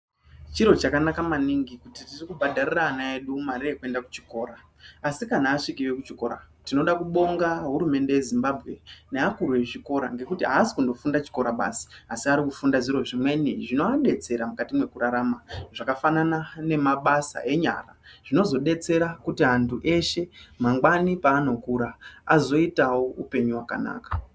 Chiro chakanaka maningi kuti tiri kubhadhariraa ana edu mari yekuinda kuchikora, asi kana asvikeyo kuchikora tinoda kubonga hurumende yeZimbabwe navakuru vechikora nekuti haasi kundofunda chikora basi asi ari kufunda zviro zvimweni zvinoadetsera mukati mokurarama zvakafanana nemabasa enyara zvinozodetsera kuti antu eshe , mangwani paanokura azoitawo upenyu hwakanaka.